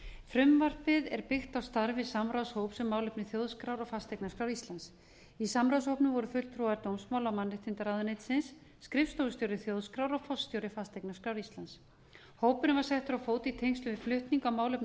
frumvarpið er byggt á starfi samráðshóps um málefni þjóðskrár og fasteignaskrár íslands í samráðshópnum voru fulltrúar dómsmála og mannréttindaráðuneytisins skrifstofustjóri þjóðskrár og forstjóri fasteignaskrár íslands hópurinn var settur á fót í tengslum við flutning á málefnum